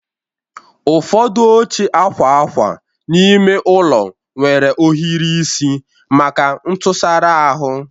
Ụfọdụ oche akwa akwa n'ime ụlọ nwere ohiri isi maka ntụsara ahụ